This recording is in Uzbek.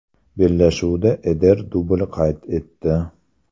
Bellashuvda Eder dubl qayd etdi.